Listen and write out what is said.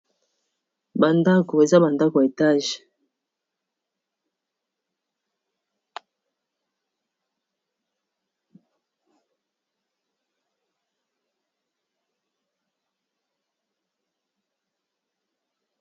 Namoni awa eza ndako ya molayi yaba etage